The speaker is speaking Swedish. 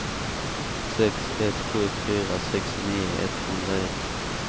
sex ett sju fyra sextionio etthundraett